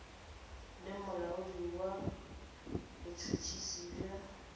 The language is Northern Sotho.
le molaodi wa botšhotšhisi bja